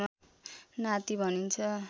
नाति भनिन्छ